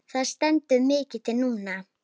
Það stendur mikið til núna.